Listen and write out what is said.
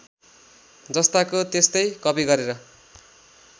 जस्ताको त्यस्तै कपि गरेर